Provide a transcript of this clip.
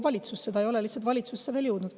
Ta lihtsalt ei ole veel valitsusse jõudnud.